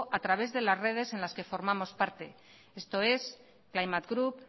a través de las redes de las que formamos parte esto es climate group